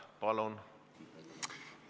Palun!